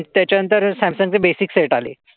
त्याच्यानंतर सॅमसंगचे basic set आले.